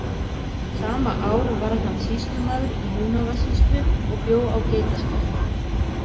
Sama ár varð hann sýslumaður í Húnavatnssýslu og bjó á Geitaskarði.